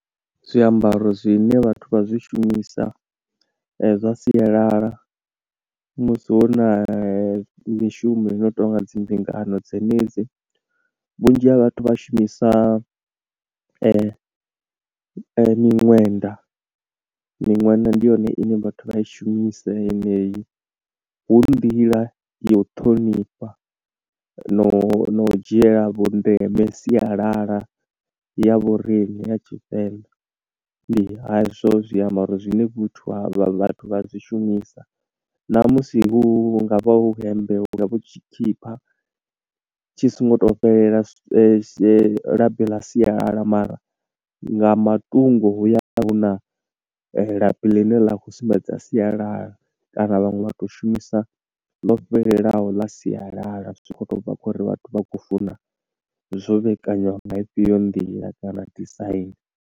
Zwiambaro zwine vhathu vha zwishumisa zwa sialala musi hu na mishumoni i no tonga dzi mbingano dzenedzi. Vhunzhi ha vhathu vha shumisa miṅwenda miṅwenda ndi yone ine vhathu vha i shumisa yeneyi. Hu nḓila ya u ṱhonifha no no u dzhiela vhu ndeme sialala ya vhoriṋe ya Tshivenḓa, ndi hezwo zwiambaro zwine vhuthu ha vha vhathu vha zwi shumisa, na musi hu nga vha hu hembe, hu nga vha hu tshikipa tshi songo to fhelela labi ḽa sialala mara, nga matungo hu ya vha hu na labi ḽine ḽa khou sumbedza sialala kana vhaṅwe vha tou shumisa ḽo fhelelaho ḽa sialala. Zwi tshi khou to bva kho uri vhathu vha khou funa zwo vhekanywa nga ifhio nḓila kana design.